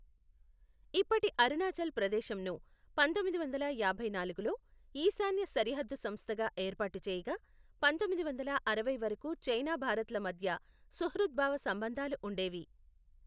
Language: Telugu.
ఇప్పటి అరుణాచల్ ప్రదేశం ను పంతొమ్మిది వందల యాభై నాలుగులో ఈశాన్య సరిహద్దు సంస్థగా ఏర్పాటు చేయగా, పంతొమ్మిది వందల అరవై వరకు చైనా భారత్ల మధ్య సుహృద్భావ సంబంధాలు ఉండేవి.